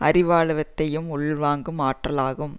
அறிவாழத்தையும் உள்வாங்கும் ஆற்றலாகும்